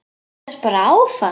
Þú fékkst bara áfall!